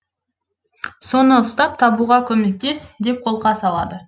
соны ұстап табуға көмектес деп қолқа салады